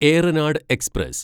Ernad express